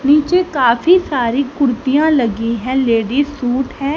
नीचे काफी सारी कुर्तियां लगी हैं लेडीज सूट हैं।